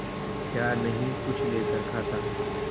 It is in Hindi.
क्या नहीं कुछ लेकर खाता